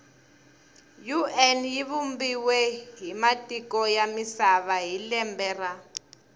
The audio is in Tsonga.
un yivumbiwe hhimatiko yamisava hhilembe ra